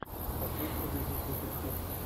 хочу увидеть детектив